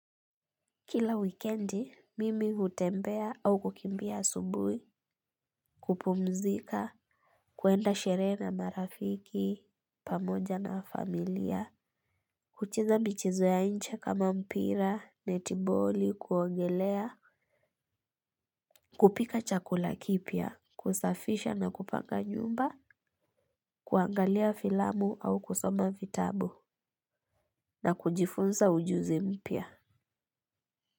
Kila wikendi, mimi hutembea au hukimbia asubuhi, hupumzika, huenda sherehe na marafiki pamoja na familia, hucheza michezo ya nje kama mpira, netiboli, kuogelea, kupika chakula kipya, kusafisha na kupanga nyumba, kuangalia filamu au kusoma vitabu na kujifunza ujuzi mpya.